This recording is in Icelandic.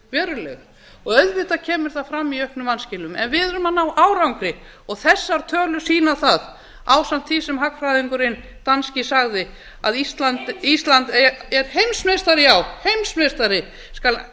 verulega auðvitað kemur það fram í auknum vanskilum en við erum að ná árangri þessar tölur sýna það ásamt því sem hagfræðingurinn danski sagði að ísland heimsmeistari er heimsmeistari já heimsmeistari skal